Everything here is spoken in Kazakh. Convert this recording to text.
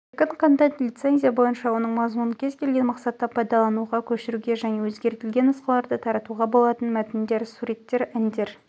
еркін контент лицензия бойынша оның мазмұнын кез келген мақсатта пайдалануға көшіруге және өзгертілген нұсқаларда таратуға болатын мәтіндер суреттер әндер